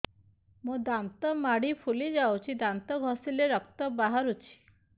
ମୋ ଦାନ୍ତ ମାଢି ଫୁଲି ଯାଉଛି ଦାନ୍ତ ଘଷିଲେ ରକ୍ତ ବାହାରୁଛି